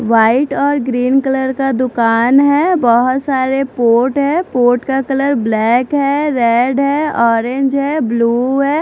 White और green colour का दुकान है बहुत सारे पॉट है पॉट का कलर ब्लैक है रेड है ऑररेंज है ब्लू है।